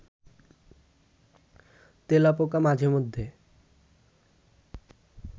তেলাপোকা মাঝে মধ্যে